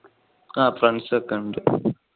ആ friends ഒക്കെ ഉണ്ട്.